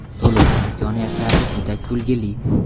To‘lov imkoniyatlari juda kulgili.